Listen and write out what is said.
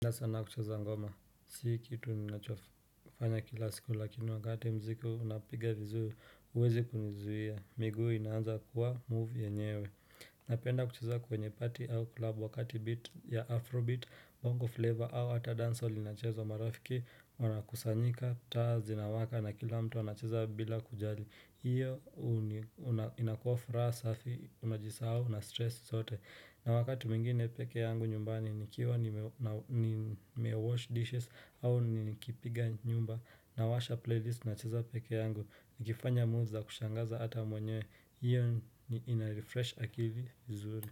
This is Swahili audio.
Napenda sana kucheza ngoma, si kitu ninachofanya kila siku lakini wakati muziki unapiga vizuri, huwezi kunizuia, miguu inaanza kuwa move yenyewe Napenda kucheza kwenye party au club wakati beat ya afro beat, bongo flavor au ata dancehall inacheza marafiki, wanakusanyika, taa zinawaka na kila mtu anacheza bila kujali hiyo inakua furaha safi, unajisahau, nastress zote na wakati mwingine pekee yangu nyumbani ni kiwa ni mewash dishes au ni kipiga nyumba nawasha playlist nacheza pekee yangu Nikifanya moves za kushangaza ata mwenyewe hiyo inarefresh akili vizuri.